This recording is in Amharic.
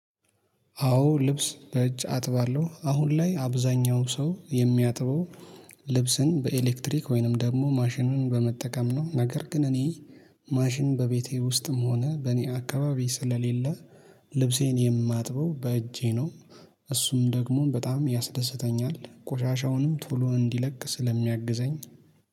አዎ ልብስ በእጅ አጥባለሁ አሁን ላይ አብዛኛው ሰው የሚያጥበው ልብስን በኤሌክትሪክ ወይንም ደግሞ ማሽኑን በመጠቀም ነው። ነገር ግን እኔ ማሽን በቤቴ ውስጥም ሆነ በእኔ አካባቢ ስለሌለ ልብሴን የማጥበው በእጄ ነው። እሱም ደግሞ በጣም ያስደስተኛል ቆሻሻውንም ቶሎ እንዲለቅ ስለሚያግዘኝ